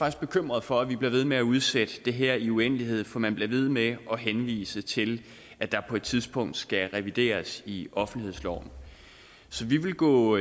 er bekymret for at vi bliver ved med at udsætte det her i en uendelighed for man bliver ved med at henvise til at der på et tidspunkt skal revideres i offentlighedsloven vi vil gå